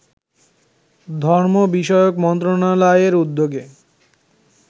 ধর্ম বিষয়ক মন্ত্রণালয়ের উদ্যোগে